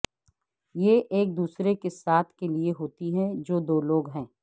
یہ ایک دوسرے کے ساتھ کے لئے ہوتی ہیں جو دو لوگ ہیں